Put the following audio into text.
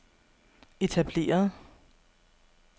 etableret